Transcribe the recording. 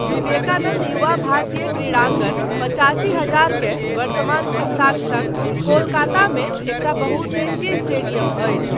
विवेकानन्द युवा भारती क्रीड़ाङ्गन, पचासी हजार के वर्तमान क्षमताक सङ्ग कोलकातामे एकटा बहुउद्देशीय स्टेडियम अछि।